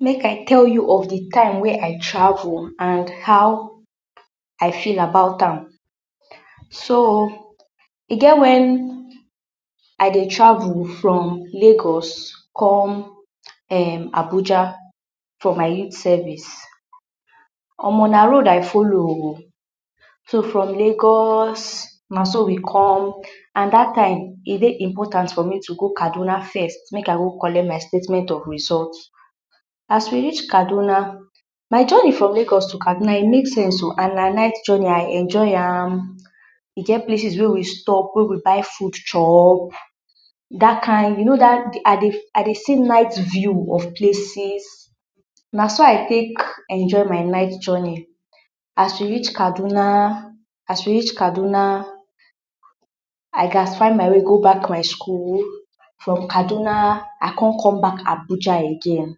Make I tell you of di time wey I travel and how I feel about am. So, e get wen I dey travel from lagos um come Abuja for my youth savis. Omo! Na road I folo o. so, from Lagos na so we come? And dat time e dey important for me to come Kaduna first make I go collect my statement of rizot. As we rich Kaduna, my joni from Lagos to Kaduna e mame sense o, and na night joni, I enjoy am. E get places wey we stop wey we buy fud chop, dat kind? You no sey, I dey see night view of places, na so I take enjoy my night joni. As we rich Kaduna…. As we rich kaduna, I classify my way go bak my skul, from kaduna I con come bak Abuja again.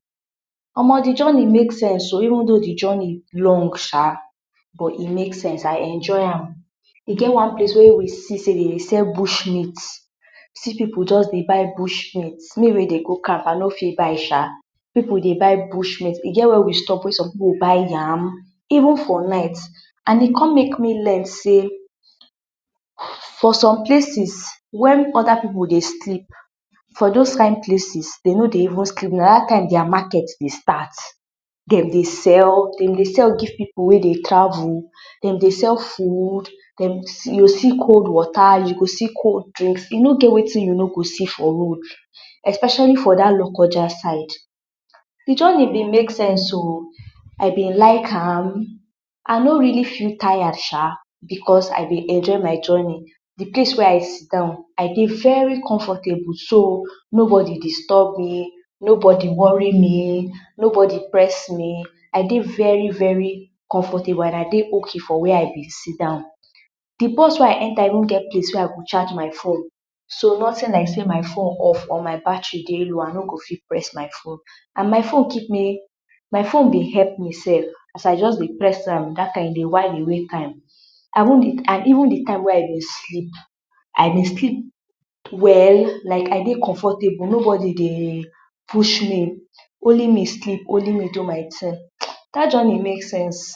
Omo di joni make sense o even though di joni long sha but e make sense I enjoy am, e get one place wey we see sey dem dey sell bush meat, see pipu just dey buy bush meat, me wey dey go camp I no fit buy sha. Pipu dey buy bush meat, e get where we stop wey som pipu buy yam, even for night and e con make me learn sey, for som places wen oda pipu dey sleep, for dos kind places den no dey even sleep na dat time dia maket dey stat. dem dey sell, dem dey sell give pipu wey dey travel, dem dey fud, you go see cold wota, you go see cold drink, e no get wetin you no go see for road, Especiali for dat lokoja side. Di joni been make sense o, I been like am, I no reali feel tired sha. Becos I dey enjoy my joni, di place wey I sit down, I dey very comfortable so no bodi distob me, no bodi wori me, no bodi press me, I dey very-veri comfortable and I dey ok for where I sit down. Di bos wey I enta even get place wey I go chaj my fone so notin like sey my fone off or my battery dey low I no go fit press my fone. And my fone keep me? My fone been help me sef as I just dey press am dat time dey while away time, and even di time wey I been sleep, I been sleep well, like I dey comfortable nobodi been dey push me, only me sleep, only me do my tin. Dat joni make sense.